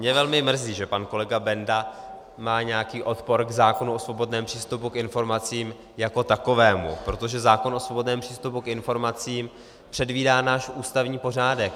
Mě velmi mrzí, že pan kolega Benda má nějaký odpor k zákonu o svobodném přístupu k informacím jako takovému, protože zákon o svobodném přístupu k informacím předvídá náš ústavní pořádek.